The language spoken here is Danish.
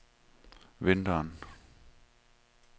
vinteren